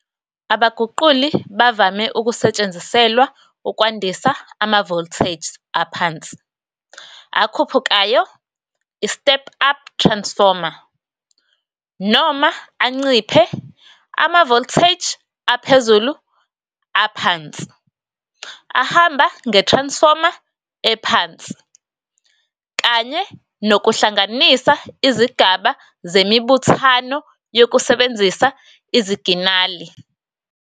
Abaguquli bavame ukusetshenziselwa ukwandisa ama-voltages aphansi akhuphukayo, i-step-up transformer, noma anciphe ama-voltages aphezulu aphansi, ahamba nge-transformer ephansi, kanye nokuhlanganisa izigaba zemibuthano yokusebenzisa iziginali.